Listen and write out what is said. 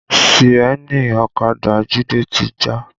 Síènì ọ̀kadà Jide ti já